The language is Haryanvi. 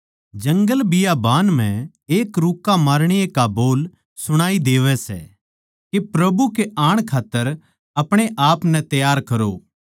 जंगलबियाबान म्ह एक रुक्का मारणीये का बोल सुणाई देवै सै के प्रभु के आण खात्तर आपणे आपनै तैयार करो